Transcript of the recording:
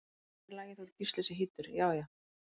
En það er í lagi þótt Gísli sé hýddur, já já!